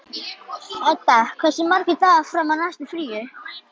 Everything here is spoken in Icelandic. Eddi, hversu margir dagar fram að næsta fríi?